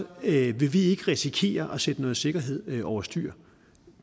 vil vi ikke risikere at sætte noget sikkerhed over styr